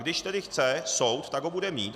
Když tedy chce soud, tak ho bude mít.